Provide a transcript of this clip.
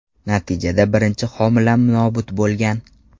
Natijada birinchi homilam nobud bo‘lgan.